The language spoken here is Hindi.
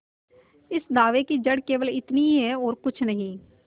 इस दावे की जड़ केवल इतनी ही है और कुछ नहीं